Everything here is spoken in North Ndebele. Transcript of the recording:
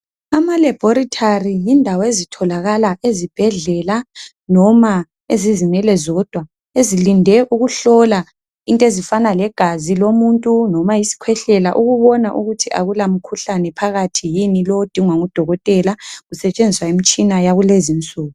Ama laboratory yindawo ezitholakala ezibhedlela noma ezizimele zodwa ezilinde ukuhlola izintezifana legazi lomunti noma isikhwehlela ukubona ukuthi akula mkhuhlane phakathi yini lowu odingwa ngudokotela kusetshenziswa imitshina yakulezinsuku